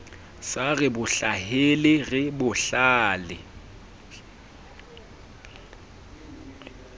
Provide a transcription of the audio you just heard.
sa re hlahele re bohlale